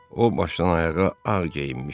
O başdan-ayağa ağ geyinmişdi.